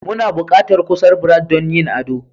Muna buƙatar kusar Brad don yin ado.